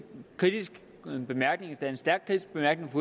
kritisk bemærkning endda en stærkt kritisk bemærkning